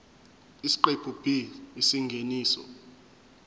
isiqephu b isingeniso